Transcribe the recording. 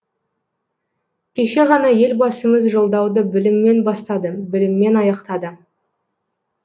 кеше ғана елбасымыз жолдауды біліммен бастады біліммен аяқтады